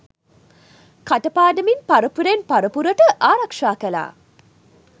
කට පාඩමින් පරපුරෙන් පරපුරට ආරක්ෂා කළා.